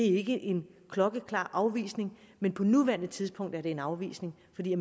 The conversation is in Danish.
ikke er en klokkeklar afvisning men på nuværende tidspunkt er det en afvisning fordi